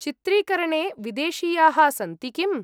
चित्रीकरणे विदेशीयाः सन्ति किम्?